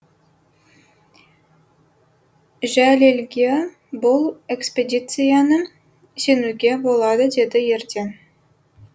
жәлелге бұл экспедицияны сенуге болады деді ерден